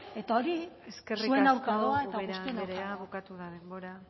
eta hori eskerrik asko ubera andrea bukatu da denbora